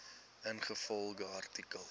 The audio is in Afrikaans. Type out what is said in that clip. ingevolge artikel